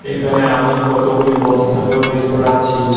এখানে আমি কতগুলি বস্তাকেও দেখতে পাচ্ছি।